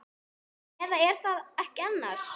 Eða. er það ekki annars?